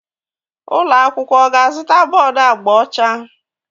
Ụlọ akwụkwọ ọ ga-azụta bọọdu agba ọcha?